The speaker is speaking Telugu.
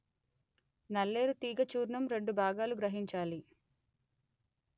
నల్లేరు తీగ చూర్ణం రెండు భాగాలు గ్రహించాలి